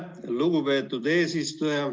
Aitäh, lugupeetud eesistuja!